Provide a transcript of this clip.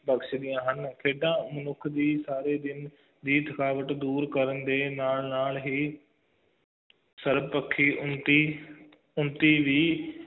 ਕਸ਼ਦੀਆਂ ਹਨ ਖੇਡਾਂ ਮਨੁੱਖ ਦੀ ਸਾਰੇ ਦਿਨ ਦੀ ਥਕਾਵਟ ਦੂਰ ਕਰਨ ਦੇ ਨਾਲ ਨਾਲ ਹੀ ਸਰਵਪੱਖੀ ਉੱਨਤੀ ਉੱਨਤੀ ਵੀ